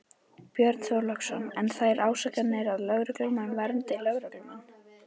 Björn Þorláksson: En þær ásakanir að lögreglumenn verndi lögreglumenn?